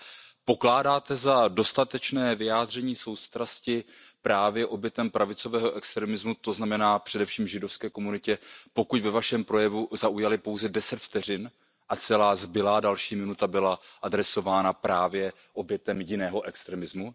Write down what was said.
Ale Pokládáte za dostatečné vyjádření soustrasti právě obětem pravicového extremismu, to znamená především židovské komunitě, pokud ve Vašem projevu zaujaly pouze 10 vteřin a celá zbylá další minuta byla adresována právě obětem jiného extremismu?